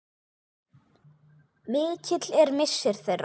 Mikill er missir þeirra.